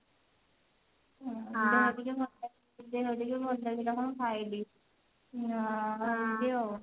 ଅଣ୍ଡା ଭାଜି ଭାତ ଖାଇ ଦେଲି ଭଲ ଲାଗିଲା କଣ ଖାଇଲି